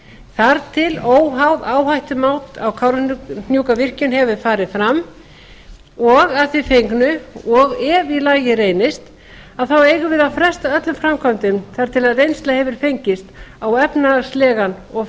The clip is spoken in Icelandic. þar til óháð áhættumat á kárahnjúkavirkjun hefur fram og að því fengnu og ef í lagi reynist eigum við að fresta öllum framkvæmdum þar til reynsla hefur fengist á efnahagslegan og